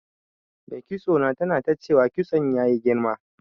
Mai kitso na tana ta cewa kitson ya yi girma.